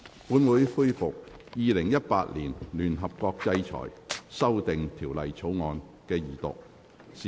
本會恢復《2018年聯合國制裁條例草案》的二讀辯論。